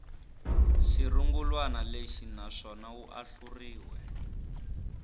xirungulwana lexi naswona wu ahluriwe